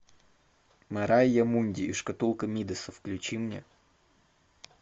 мэрайа мунди и шкатулка мидаса включи мне